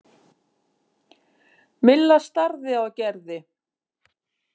Milla starði á Gerði.